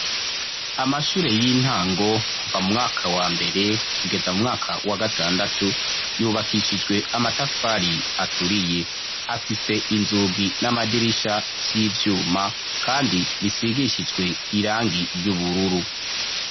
Amashure y'intango kuva mu mwaka wa mbere kugeza mu mwaka wa gatandatu yubakishijwe amatafari aturiye, afise inzugi n'amadirisha vy'ivyuma kandi bisigishijwe irangi ry'ubururu.